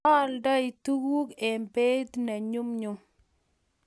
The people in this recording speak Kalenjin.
Oldoi tuguk eng beit ne nyumnyum